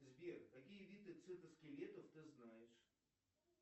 сбер какие виды цитоскелетов ты знаешь